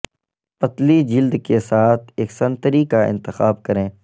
پتلی جلد کے ساتھ ایک سنتری کا انتخاب کریں